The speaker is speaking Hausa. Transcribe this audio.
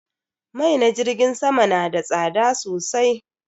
Mai na jirgin sama na da tsada sosai